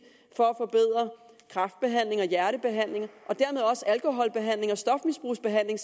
for at forbedre kræftbehandling og hjertebehandling og dermed også alkoholbehandling og stofmisbrugsbehandling